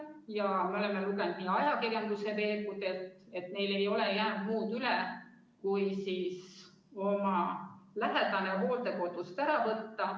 Ja me oleme lugenud näiteks ajakirjanduse veergudelt, et neil ei olen jäänud muud üle, kui oma lähedane hooldekodust ära võtta.